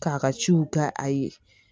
K'a ka ciw k'a ye